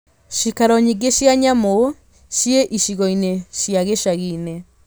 Ciikaro nyingĩ cia nyamũ ciĩ icigo-inĩ cia gĩcagi-inĩ.